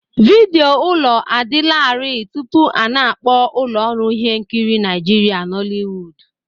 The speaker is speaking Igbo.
Vidio ụlọ adịlarị tupu a na-akpọ ụlọ ọrụ ihe nkiri Nigeria Nollywood